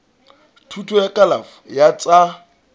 thuto ya kalafo ya tsa